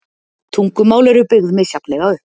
Tungumál eru byggð misjafnlega upp.